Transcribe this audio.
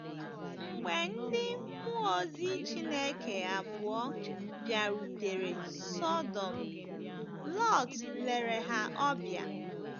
Mgbe ndị mmụọ ozi Chineke abụọ bịarutere Sọdọm, Lọt lere ha ọbịa.